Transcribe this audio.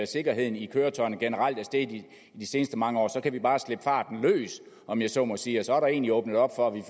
sikkerheden i køretøjerne generelt er steget i de seneste mange år kan vi bare slippe farten løs om jeg så må sige for så er der egentlig åbnet op for at vi